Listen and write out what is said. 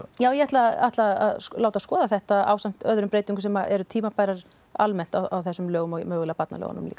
já ég ætla ætla að láta skoða þetta ásamt öðrum breytingum sem eru tímabærar almennt á þessum lögum og mögulega barnalögunum líka